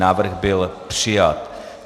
Návrh byl přijat.